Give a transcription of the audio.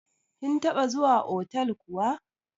Kin taɓa zuwa otal kuwa?